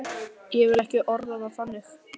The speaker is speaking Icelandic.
Ég vil ekki orða það þannig.